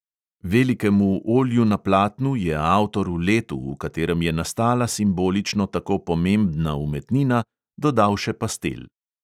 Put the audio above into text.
Velikemu olju na platnu je avtor v letu, v katerem je nastala simbolično tako pomembna umetnina, dodal še pastel.